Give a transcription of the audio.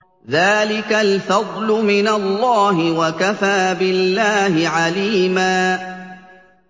ذَٰلِكَ الْفَضْلُ مِنَ اللَّهِ ۚ وَكَفَىٰ بِاللَّهِ عَلِيمًا